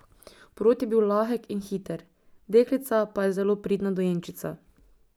Porod je bil lahek in hiter, deklica pa je zelo pridna dojenčica.